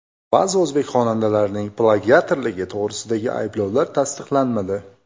Ba’zi o‘zbek xonandalarining plagiatorligi to‘g‘risidagi ayblovlar tasdiqlanmadi.